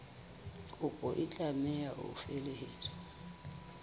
kopo e tlameha ho felehetswa